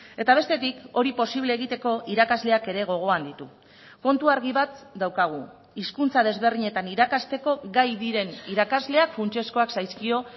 eta bestetik hori posible egiteko irakasleak ere gogoan ditu kontu argi bat daukagu hizkuntza desberdinetan irakasteko gai diren irakasleak funtsezkoak zaizkio